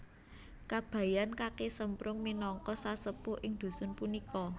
Kabayan Kaki Semprung minangka sesepuh ing dusun punika